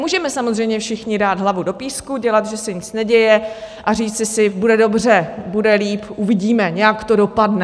Můžeme samozřejmě všichni dát hlavu do písku, dělat, že se nic neděje, a říci si, bude dobře, bude líp, uvidíme, nějak to dopadne.